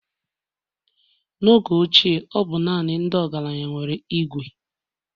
n'oge ochie ọ bụ naanị ndị ọgaranya nwere Ìgwè